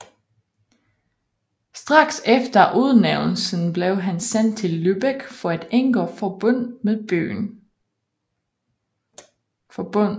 Straks efter udnævnelsen blev han sendt til Lübeck for at indgå forbund med byen